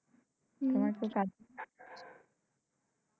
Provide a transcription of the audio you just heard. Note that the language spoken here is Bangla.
হম